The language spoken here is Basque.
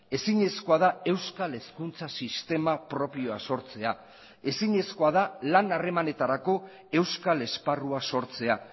ezinezkoa da euskal hezkuntza sistema propioa sortzea ezinezkoa da lan harremanetarako euskal esparrua sortzea